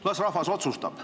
Las rahvas otsustab.